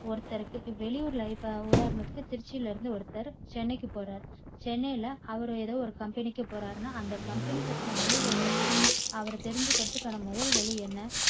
ஒருத்தருக்கு வெளியூர் life ய உதாரணத்துக்கு திருச்சில இருந்து ஒருத்தர் சென்னைக்கு போறார். சென்னைல அவர் ஏதோ ஒரு கம்பெனிக்கு போறார்னா அந்த கம்பெனி பத்தின முழு விவரத்தையும் அவர் தெரிஞ்சிக்கிறதுக்கான முதல் வழி என்ன?